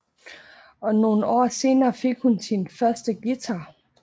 Og nogle år senere fik hun sin første guitar